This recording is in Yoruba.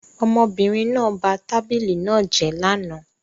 Ọmọbìnrin náà ba tábìlì náà jẹ́ lánàá